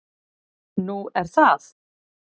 """Nú, er það?"""